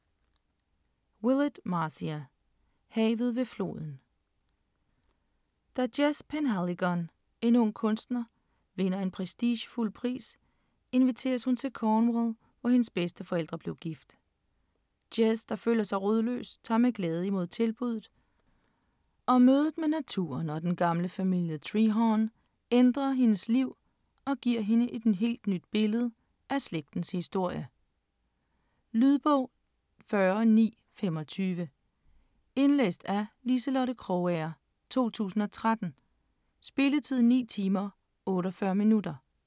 Willett, Marcia: Haven ved floden Da Jess Penhaligon, en ung kunstner, vinder en prestigefuld pris inviteres hun til Cornwall, hvor hendes bedsteforældre blev gift. Jess, der føler sig rodløs tager med glæde imod tilbudet, og mødet med naturen og den gamle familie Trehearne ændrer hendes liv og giver hende et helt nyt billede af slægtens historie. Lydbog 40925 Indlæst af Liselotte Krogager, 2013. Spilletid: 9 timer, 48 minutter.